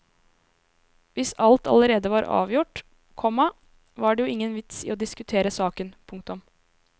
Hvis alt allerede var avgjort, komma var det jo ingen vits i å diskutere saken. punktum